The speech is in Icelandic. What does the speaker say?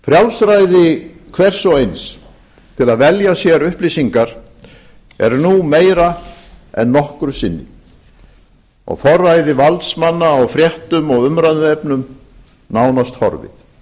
frjálsræði hvers og eins til að velja sér upplýsingar er nú meira en nokkru sinni og forræði valdsmanna á fréttum og umræðuefnum nánast horfið þessi þróun getur